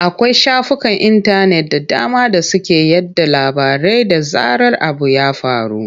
Akwai shafukan intanet da dama da suke yaɗa labarai da zarar abu ya faru.